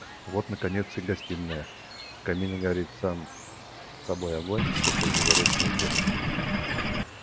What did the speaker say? вот наконец и гостиная в камине горит сам собой огонь посреди горячего пепла